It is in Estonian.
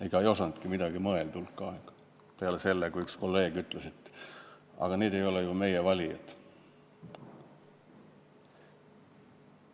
Ega keegi ei osanudki hulk aega midagi välja mõelda, siis üks kolleeg ütles, et aga need ei ole ju meie valijad.